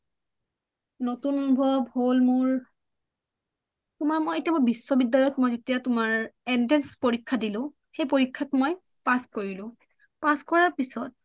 নতুন আনুভৱ হল মোৰ তোমাৰ মই এতিয়া বিশ্ববি্যালয়ত মই যেতিয়া তোমাৰ entrance পৰীক্ষা দিলোঁ মই সেই পৰীক্ষাত মই pass কৰিলোঁ pass কৰা পিছত